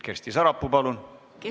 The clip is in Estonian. Kersti Sarapuu, palun!